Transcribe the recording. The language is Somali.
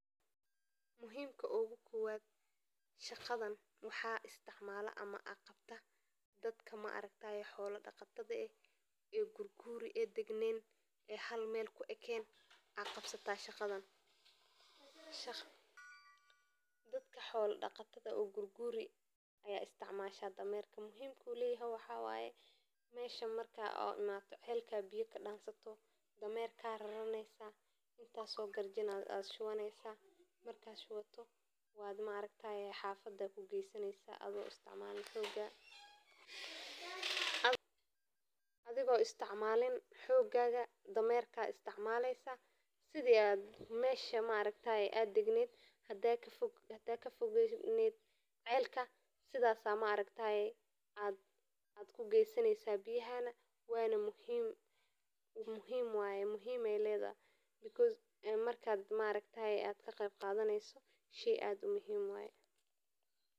Marka ay tahay xilli qalqalcelinta oo ay biyuhu yihiin mid adag oo laga heli karo meelaha fog, raxanrayaashu waxay u adeegsadaan dameeraha si ay u soo qaadaan biyaha ka dib marka ay soo ururiyaan meelaha ay ka heli karaan sida ceelasha, wabiyada, ama haraha, ka dibna waxay ku raraan dameeraha qalabka lagu qaado biyaha sida baakadaha, gacan qaboow, ama weelal, kadib ayay u jiidanayaan dameeraha oo ay ku qaadaan biyaha guriga, xeryaha, ama beeraha, halkaas oo ay ku waraabiyaan xoolaha.